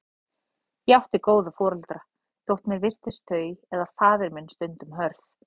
Ég átti góða foreldra, þótt mér virtist þau eða faðir minn stundum hörð.